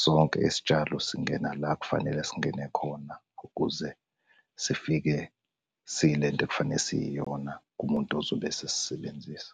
sonke isitshalo singena la ekufanele singene khona, ukuze sifike siyilento ekufanele siyiyona kumuntu ozobe esesisebenzisa.